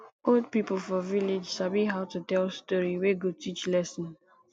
old pipo for village sabi how to tell story wey go teach lesson